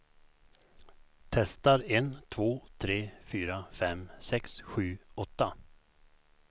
Testar en två tre fyra fem sex sju åtta.